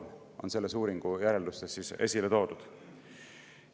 See on selle uuringu järeldustes esile toodud.